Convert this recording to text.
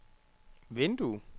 vindue